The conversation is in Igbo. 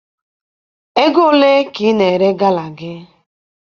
Ego ole ka ị na-ere gala gị?